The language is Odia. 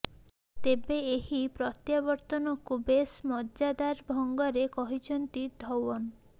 ତେବେ ଏହି ପ୍ରତ୍ୟାବର୍ତ୍ତନକୁ ବେଶ ମଜାଦାର ଢଙ୍ଗରେ କହିଛନ୍ତି ଧଓ୍ୱନ